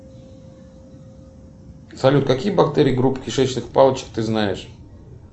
салют какие бактерии группы кишечных палочек ты знаешь